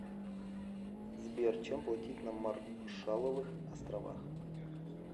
сбер чем платить на маршалловых островах